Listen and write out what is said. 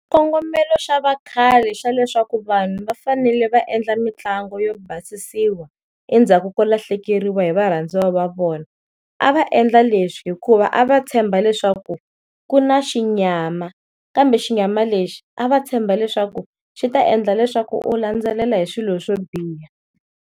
Kongomelo xa vakhale xa leswaku vanhu va fanele va endla mitlangu yo basisiwa endzhaku ko lahlekeriwa hi varhandziwa va vona, a va endla leswi hikuva a va tshemba leswaku ku na xinyama kambe xinyama lexi a va tshemba leswaku swi ta endla leswaku u landzelela hi swilo swo biha.